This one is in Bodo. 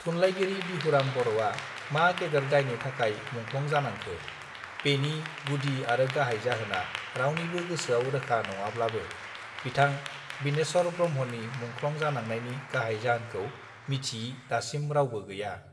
थुनलाइगिरि बिहुराम बरआ मा गेदेर दायनि थाखाय मुंख्लं जानांखो बेनि गुदि आरो गाहाइ जाहोना रावनिबो गोसोआव रोखा नङाब्लाबो बिथां बिनेश्वर ब्रह्मनि मुंख्लं जानांनायनि गाहाइ जाहोनखौ मिथियि दासिम रावबो गैया